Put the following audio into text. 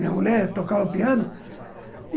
Minha mulher tocava piano.